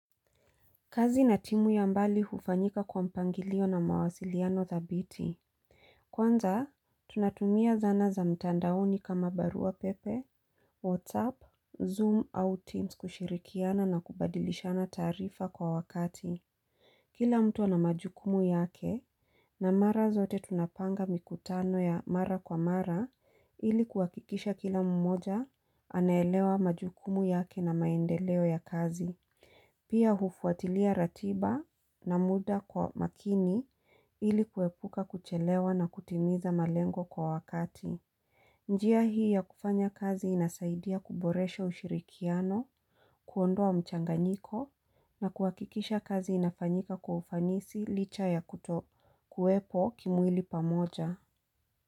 Kazi na timu ya mbali hufanyika kwa mpangilio na mawasiliano thabiti. Kwanza, tunatumia zana za mtandaoni kama barua pepe, WhatsApp, Zoom au Teams kushirikiana na kubadilishana tarifa kwa wakati. Kila mtu anamajukumu yake na mara zote tunapanga mikutano ya mara kwa mara ili kuwakikisha kila mmoja anaelewa majukumu yake na maendeleo ya kazi. Pia hufuatilia ratiba na muda kwa makini ili kuepuka kuchelewa na kutimiza malengo kwa wakati. Njia hii ya kufanya kazi inasaidia kuboresha ushirikiano, kuondoa mchanganyiko na kuhakikisha kazi inafanyika kwa ufanisi licha ya kuto kuepo kimwili pamoja.